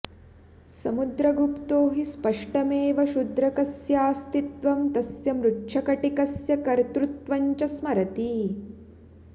समुद्रगुप्तो हि स्पष्टमेव शूद्रकस्यास्तित्वं तस्य मृच्छकटिकस्य कर्तृत्वञ्च स्मरति